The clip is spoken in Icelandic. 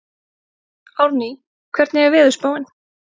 Árný, hvernig er veðurspáin?